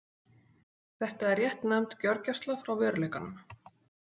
Þetta er réttnefnd gjörgæsla frá veruleikanum.